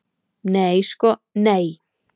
Nei sko nei.